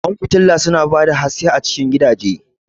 Ƙwan fitila su na ba da haske a cikin gidaje